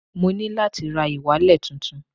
Mo ní láti ra ìwalẹ̀ tuntun